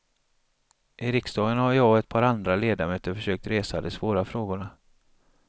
I riksdagen har jag och ett par andra ledamöter försökt resa de svåra frågorna.